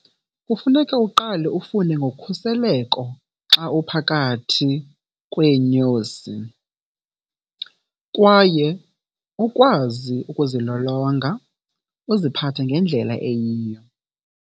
Kufuneka uqale ufunde ngokhuseleko xa uphakathi kweenyosi kwaye ukwazi ukuzilolonga uziphathe ngendlela eyiyo.